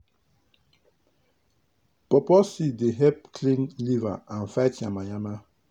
pawpaw seed dey help clean liver and fight yama yama.